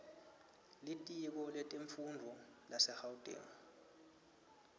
litiko letemfundvo lasegauteng